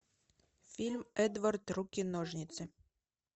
фильм эдвард руки ножницы